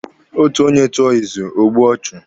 Otu onye tụọ izu, o gbue ọchụ.